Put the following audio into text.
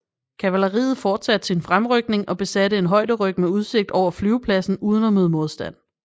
Kavaleriet forsatte sin fremrykning og besatte en højderyg med udsigt over flyvepladsen uden at møde modstand